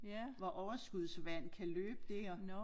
Hvor overskudsvand kan løbe dér